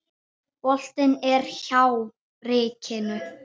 Boltinn er hjá ríkinu.